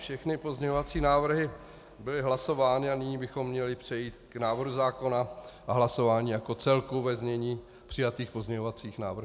Všechny pozměňovací návrhy byly hlasovány a nyní bychom měli přejít k návrhu zákona a hlasování jako celku ve znění přijatých pozměňovacích návrhů.